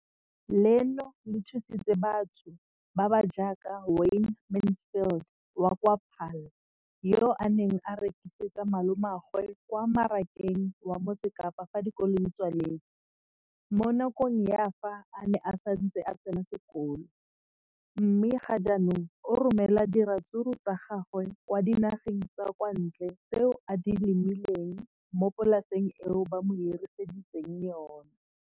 leno le thusitse batho ba ba jaaka Wayne Mansfield, 33, wa kwa Paarl, yo a neng a rekisetsa malomagwe kwa Marakeng wa Motsekapa fa dikolo di tswaletse, mo nakong ya fa a ne a santse a tsena sekolo, mme ga jaanong o romela diratsuru tsa gagwe kwa dinageng tsa kwa ntle tseo a di lemileng mo polaseng eo ba mo hiriseditseng yona.